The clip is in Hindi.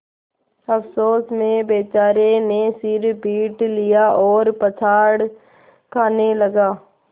अफसोस में बेचारे ने सिर पीट लिया और पछाड़ खाने लगा